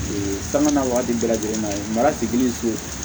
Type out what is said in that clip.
sanga na waati bɛɛ lajɛlen na ye mara sigili ko